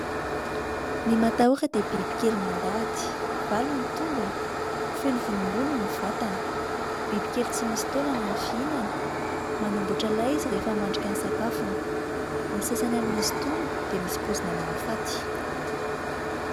Ny matahora dia bibikely mandady, valo ny tongony, feno volombolo ny vatany, bibikely tsy misy taolana no fihinany, manamboatra lay izy rehefa hamandrika ny sakafony, ny sasany amin'izy itony dia misy poizina mahafaty.